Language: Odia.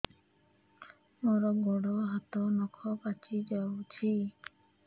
ମୋର ଗୋଡ଼ ହାତ ନଖ ପାଚି ଯାଉଛି